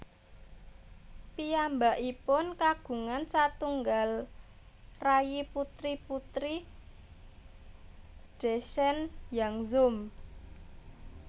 Piyambakipun kagungan satunggal rayi putri Putri Dechen Yangzom